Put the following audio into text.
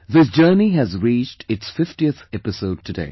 This journey has reached its 50th episode today